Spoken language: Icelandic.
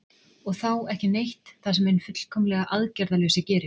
Og þá ekki neitt það sem hinn fullkomlega aðgerðalausi gerir?